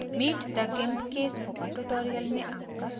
meet the gimp के spoken tutorial पर आपका स्वागत हैं